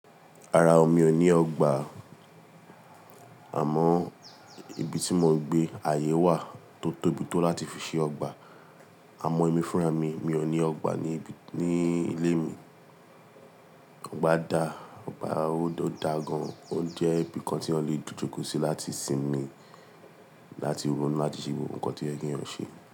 Rara ọ, mi ò ní ọgbà, àmọ́ ibi tí mò ń gbé, ààyè wà tó tóbi tó láti fi ṣe ọgbà. Àmọ́ ẹ̀mí fúnra mi, mi ò ní ọgbà ní ibi, ní ilé mi. Ọgbà da, ọgbà ó dáa gan. Ó jẹ́ ibi kan tí eya le jo jokọ sí láti sinmi, láti ronú láti ṣe gbogbo nkan tí o ye ki eyàn ṣe.